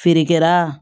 Feerekɛla